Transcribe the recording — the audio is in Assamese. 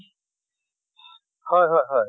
হয় হয় হয়